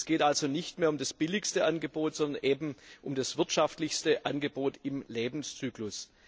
Es geht also nicht mehr um das billigste Angebot, sondern um das wirtschaftlichste Angebot im Lebenszyklus.